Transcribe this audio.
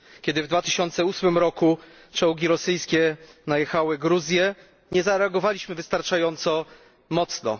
Kiedy w2008 roku czołgi rosyjskie najechały na Gruzję, nie zareagowaliśmy wystarczająco mocno.